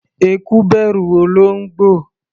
Eku bẹ̀rù olóńgbò.